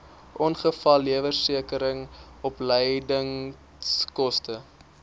ongevalleversekering opleidingskoste